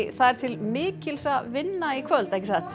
það er til mikils að vinna í kvöld ekki satt